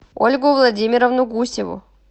ольгу владимировну гусеву